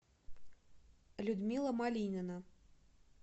людмила малинина